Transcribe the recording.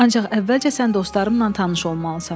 Ancaq əvvəlcə sən dostlarınla tanış olmalısan.”